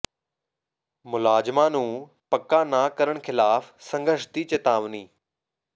ਮੁਲਾਜ਼ਮਾਂ ਨੂੰ ਪੱਕਾ ਨਾ ਕਰਨ ਖਿਲਾਫ ਸੰਘਰਸ਼ ਦੀ ਚਿਤਾਵਨੀ